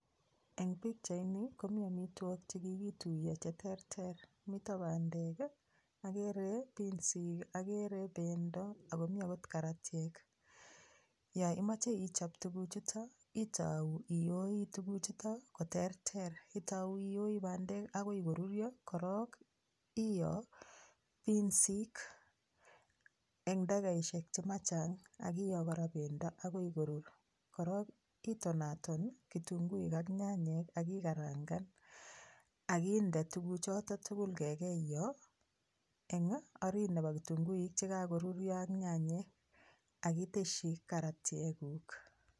Eng pikchaini komi amitwogik che kikituiyo che terter, mito bandek ii, akere pinsik, akere bendo ako mi akot karatiek. Yo imoche ichop tukuchuto itou iyoi tukuchuto koterter, itou iyoi bandek akoi koruryo, korok iyo pinsik eng dakikaisiek che machang akiyo kora bendo akoi korur, korok itonaton kitunguik ak nyanyek ak ikarangan ak inde tuguchoto tugul kekeiyo eng orit nebo kitunguik che kakoruryo ak nyanyek ak itesyi karatiekuk.